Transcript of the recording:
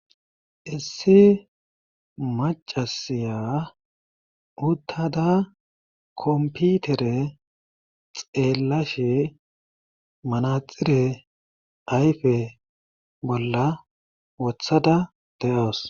Issi maccasiya uttada kompitere xeellashe manaxire ayfe bolla wothada de7awus.